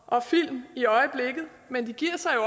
og film i øjeblikket men de giver sig jo